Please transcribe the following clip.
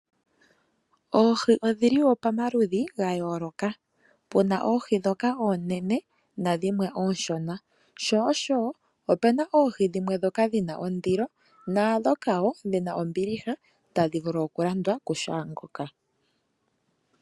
Oohi odhili woo pamaludhi gayoloka, puna oohi dhoka oonene nadhimwe ooshona sho osho woo opuna oohi dhimwe dhoka dhina ondilo nadhoka wo dhina ombiliha tadhivulu okulandwa ku kehe ngoka.